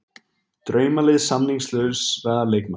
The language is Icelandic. Draumalið samningslausra leikmanna